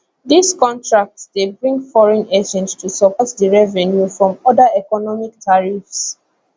dis contracts dey bring foreign exchange to support di revenue from oda economic tariffs